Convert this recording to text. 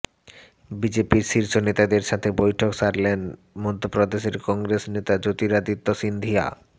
বিজেপির শীর্ষ নেতাদের সাথে বৈঠক সারলেন মধ্যপ্রদেশের কংগ্রেস নেতা জ্যোতিরাদিত্য সিন্ধিয়া